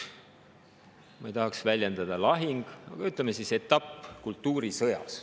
Ma ei tahaks öelda, et see on lahing, aga ütleme siis, et see on üks etapp kultuurisõjas.